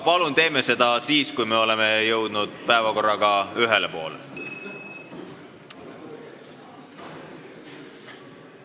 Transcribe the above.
Palun teeme seda aga siis, kui me oleme jõudnud päevakorraga ühele poole!